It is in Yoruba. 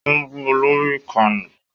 Wọ́n bu lórí ìkànnì